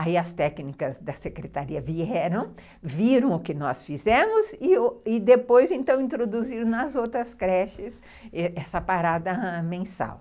Aí as técnicas da secretaria vieram, viram o que nós fizemos e depois, então, introduziram nas outras creches essa parada mensal.